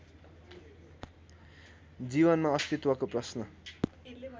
जीवनमा अस्तित्वको प्रश्न